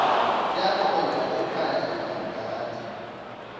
yaqonda ekhaya ilambatha